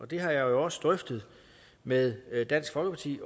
det har jeg jo også drøftet med dansk folkeparti